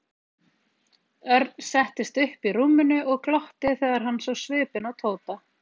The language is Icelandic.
Örn settist upp í rúminu og glotti þegar hann sá svipinn á Tóta.